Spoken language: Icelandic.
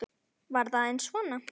Var það bara aðeins svona?